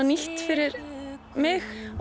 nýtt fyrir mig